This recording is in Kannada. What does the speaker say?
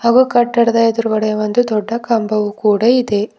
ಹಾಗು ಕಟ್ಟಡದ ಎದ್ರುಗಡೆ ಒಂದು ದೊಡ್ಡ ಕಂಬವು ಕೂಡ ಇದೆ.